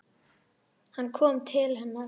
Hann kom til hennar.